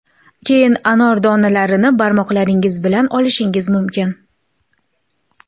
Keyin anor donalarini barmoqlaringiz bilan olishingiz mumkin.